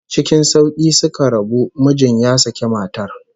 Ckin sauki suka rabu, mijin ya saki matar